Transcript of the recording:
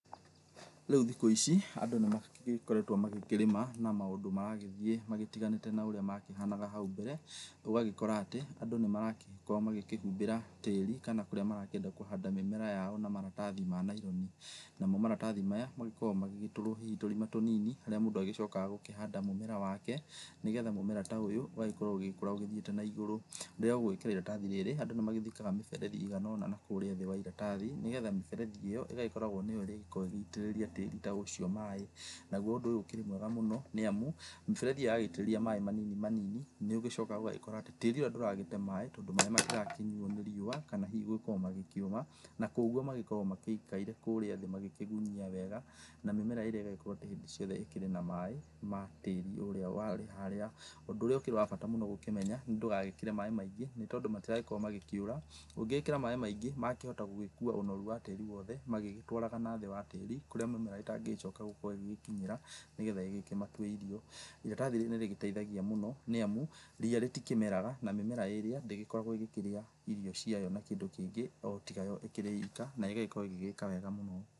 Rĩu thikũ ici andũ nĩ magĩkoretwo magĩkĩrĩma na maũndũ maragĩthĩ magĩtiganĩte na ũrĩa makĩhanaga hau mbere, ũgagĩkora atĩ andũ nĩ maragĩkorwo makĩhumbĩra tĩri kana kũrĩa marakĩenda kũhanda mũmera yao na maratathi ma naironi. Namo maratathi maya magĩkoragwo magĩgĩtũrwo hihi tũrima tũnini harĩa mũndũ agĩcokaga gũkĩhanda mũmera wake nĩgetha mũmera ta ũyũ ũgagĩkorwo ũgĩkũra ũthiĩte na igũrũ. Rĩrĩa ũgwĩkĩra ĩratathi ta rĩrĩ andũ nĩ mathikaga mĩberethi ĩigana ona na kũrĩa thĩ wa ĩratathi nĩgetha mĩberethi ĩyo ĩgagĩkoragwo nĩyo ĩrĩ gĩkoragwo ĩgĩitĩrĩria tĩri ta ũcio maĩ. Naguo ũndũ ũyũ ũkĩrĩ mwega mũno nĩ amu mĩberethi yagĩitĩrĩria maĩ manini manini nĩ ũgĩcokaga ũgagĩkora atĩ tĩri ũrĩa ndũragĩte maĩ tondũ maĩ matirakĩnyuo nĩ riũa kana hihi gũgĩkorwo makĩũma, na koguo magĩkoragwo magĩikaire kũrĩa thĩ magĩkĩgunyia wega na mĩmera ĩrĩa ĩgakorwo hindĩ ciothe ĩkĩrĩ na maĩ ma tĩri ũrĩa wa haria. Ũndũ ũrĩa ũkĩrĩ wa bata mũno gũkĩmenya nĩ ndũgagĩkĩre maĩ maingĩ nĩ tondũ matiragĩkorwo makĩũra, ũngĩkĩra maĩ maingĩ mĩmera yakĩhota gũgĩkua ũnoru wa tĩri wothe magĩgĩtwaraga nathĩ wa tĩri kũrĩa mĩmera ĩtangĩcoka gukorwo ĩgĩkinyĩra nĩgetha ĩgĩkĩmatue irio. Ĩratathi rĩrĩ nĩrĩgĩteithagia mũno nĩ amu rĩa rĩtikĩmera na mĩmera ĩrĩa ndĩgĩkoragwo ĩgĩkĩrĩa ĩrĩo ciayo na kĩndũ kĩngĩ o tiga yo ĩkĩrĩ ĩka, nayo ĩgagĩkorwo ĩgĩgĩka wega mũno.